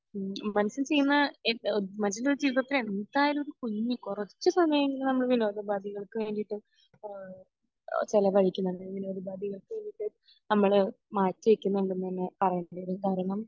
മനുഷ്യൻ ചെയ്യുന്ന എ മനുഷ്യൻ്റെ ജീവിതത്തിൽ എന്തായാലും ഒരു കുഞ്ഞ് കുറച്ച് സമയം എങ്കിലും നമ്മൾ വിനോദോപാദികൾക്ക് വേണ്ടിട്ട് അഹ് ചെലവഴിക്കുന്നത് വിനോദോപാദികൾക്ക് വേണ്ടിട്ട് നമ്മൾ മാറ്റി വെക്കുന്നുണ്ട് എന്ന് തന്നെ പറയേണ്ടതുണ്ട് കാരണം